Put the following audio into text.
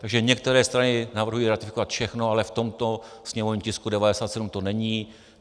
Takže některé strany navrhují ratifikovat všechno, ale v tomto sněmovním tisku 97 to není.